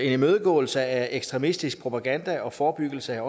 imødegåelse af ekstremistisk propaganda og forebyggelse